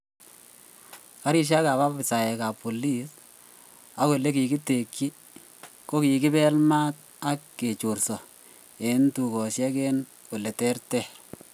Garisiek ab afisaek ak polis ak ole kigitekyi kogikibel maat ak kechorso en tugosiek en ole ter ter